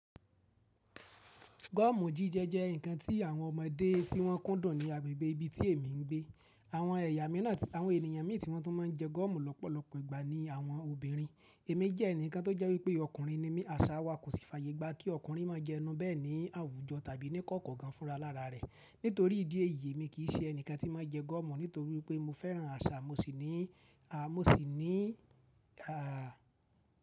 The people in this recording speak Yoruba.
Gọ́ọ̀mù jíjẹ jẹ́ ǹnkan tí àwọn ọmọdé tí wọ́n kúndùn ní agbègbè ibi tí èmi ń gbé. Àwọn ènìyàn mí tí wọ́n tún má ń jẹ gọ́ọ̀mù lọ́pọ̀lọpọ̀ ìgbà ní àwọn obìnrin. Èmi jẹ́ ẹnìkan tó jẹ́ wípé ọkùnrin ni mí, àṣà wa kò sì fàyègba kí ọkùnrin má jẹ ẹnu bẹ́ẹ̀ ní àwùjọ tàbí ní kọ̀ọ̀kan fún ra lára rẹ̀. Nítorí ìdí èyí, èmi kì í ṣe ẹni kan tí máa jẹ gọ́ọ̀mù nítorí pé mo fẹ́ràn àṣà mo sì ní à mo sì ní a.